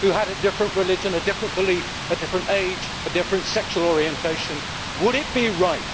who had a different religion, a different belief, a different age, a different sexual orientation would it be right